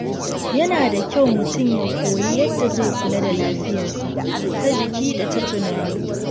Yana da kyau mutum ya koyi yadda zai kula da lafiyarsa ta jiki da ta tunani.